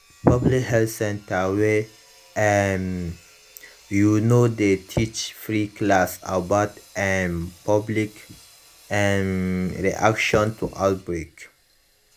plenty health center wey um you know dey teach free class about um public um reaction to outbreak